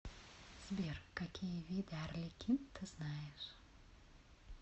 сбер какие виды арлекин ты знаешь